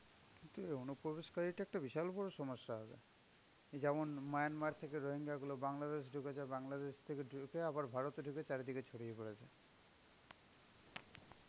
অনুপ্রবেশকারিতা একটা বিশাল বড়সমস্যা হবে. এই যেমন Myanmar থেকে রোহিঙ্গা গুলো বাংলাদেশ ঢুকেছে. বাংলাদেশ থেকে ঢুকে আবার ভারতে ঢুকেছে, চারিদিকে ছড়িয়ে পড়েছে.